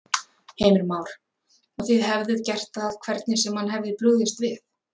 Heimir Már: Og þið hefðuð gert það hvernig sem hann hefði brugðist við?